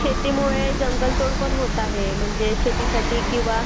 शेतीमुळं जंगलतोड पण होत आहे, म्हणजे शेतीसाठी किंवा